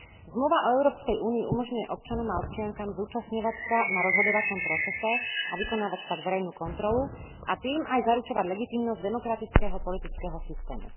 Zmluva o Európskej únii umožňuje občanom a občiankam zúčastňovať sa na rozhodovacom procese a vykonávať tak verejnú kontrolu, a tým aj zaručovať legitímnosť demokratického politického systému.